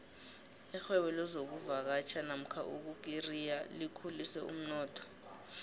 irhwebo lezokuvakatjha nomka ukukureriya likhulise umnotho